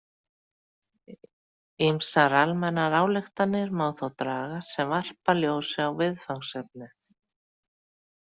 Ýmsar almennar ályktanir má þó draga sem varpa ljósi á viðfangsefnið.